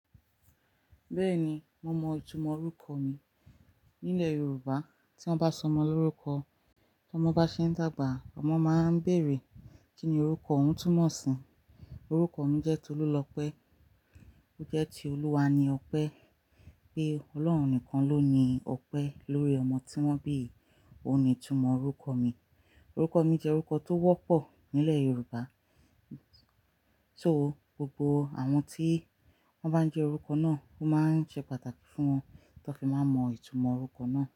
Bẹ́ẹ̀ni, mo mọ ìtumọ̀ orúkọ mi. Nílẹ̀ Yorùbá tí wọ́n bá sọ ọmọ lórúkọ, tí ọmọ bá ṣe ń dàgbà, ọmọ máa ń béèrè, Kí ni orúkọ òun túmọ̀ sí? Orúkọ mi jẹ́ Tolulope. Ó jẹ́ ti Olúwa ni ọpẹ́. Pé Ọlọ́run nìkan ló ni ọpẹ́ lórí ọmọ tí wọ́n bí. Ó ni ìtumọ̀ orúkọ mi. Orúkọ mi jẹ́ orúkọ tó wọ́pọ̀ nílẹ̀ Yorùbá. So gbogbo àwọn tí wọ́n bá ń jẹ́ orúkọ náà ó máa ń jẹ́ pàtàkì fún wọn kí wọ́n tó fi máa mọ ìtumọ̀ orúkọ náà.